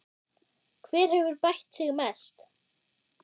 Hver hefur bætt sig mest?